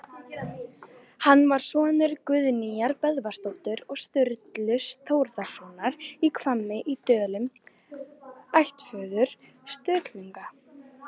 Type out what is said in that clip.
Hann var sonur Guðnýjar Böðvarsdóttur og Sturlu Þórðarsonar í Hvammi í Dölum, ættföður Sturlunga.